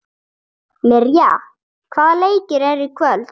Mirja, hvaða leikir eru í kvöld?